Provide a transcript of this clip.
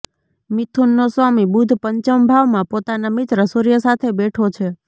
મિથુનનો સ્વામી બુધ પંચમ ભાવમાં પોતાના મિત્ર સૂર્ય સાથે બેઠો છે